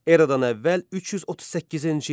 Eradan əvvəl 338-ci il.